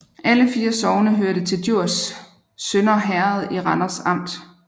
Alle 4 sogne hørte til Djurs Sønder Herred i Randers Amt